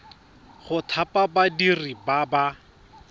go thapa badiri ba ba